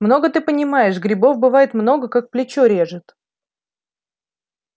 много ты понимаешь грибов бывает много как плечо режет